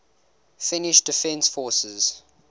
finnish defence forces